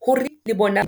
hore le bona .